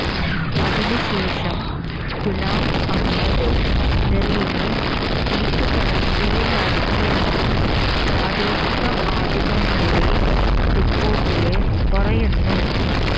അതിനുശേഷം ഗുലാം അഹമ്മദ് മിറിനെ വീട്ടുതടങ്കലിലാക്കിയെന്ന് പ്രാദേശിക മാധ്യമങ്ങളുടെ റിപ്പോര്ട്ടില് പറയുന്നു